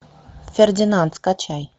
фердинанд скачай